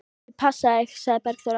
Ég á að passa þig, sagði Bergþóra.